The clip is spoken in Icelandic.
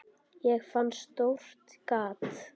Ég fann stórt gat.